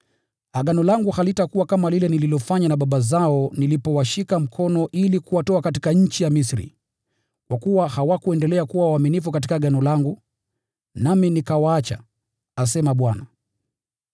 Agano langu halitakuwa kama lile nililofanya na baba zao nilipowashika mkono kuwaongoza watoke nchi ya Misri, kwa sababu hawakuendelea kuwa waaminifu katika agano langu, nami nikawaacha, asema Bwana.